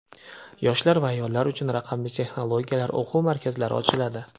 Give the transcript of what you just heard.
yoshlar va ayollar uchun raqamli texnologiyalar o‘quv markazlari ochiladi.